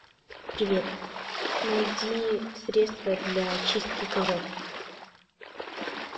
привет найди средство для чистки ковров